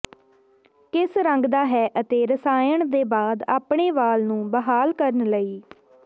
ਕਿਸ ਰੰਗਦਾ ਹੈ ਅਤੇ ਰਸਾਇਣ ਦੇ ਬਾਅਦ ਆਪਣੇ ਵਾਲ ਨੂੰ ਬਹਾਲ ਕਰਨ ਲਈ